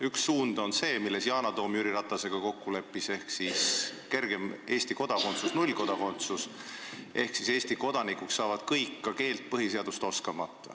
Üks suund on see, milles Yana Toom Jüri Ratasega kokku leppis, ehk siis kergem Eesti kodakondsus, nullkodakondsus: Eesti kodanikuks saavad kõik, ka keelt oskamata ja põhiseadust tundmata.